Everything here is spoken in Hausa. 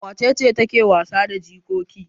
Wace ce take wasa da jikoki?